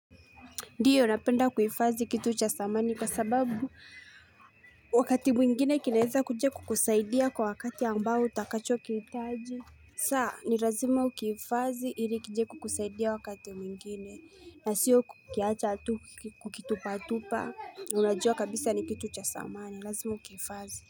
Ndio napenda kuifathi kitu cha samani kwa sababu wakati mwingine kinaweza kuja kukusaidia kwa wakati ambao utakachokitaji. Saa ni lazima ukiifadhi ili kije kukusaidia wakati mwingine na sio kukiacha kukitupa tupa unajua kabisa ni kitu cha samani. Lazima ukiifadhi.